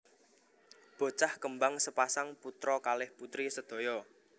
Bocah kembang sepasang putra kalih putri sedaya